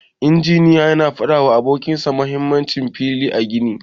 Injiniyan yana fada wa abokin sa mahimmancin fila a gini.